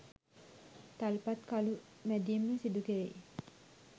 තල්පත් කළු මැදීම සිදු කෙරෙයි.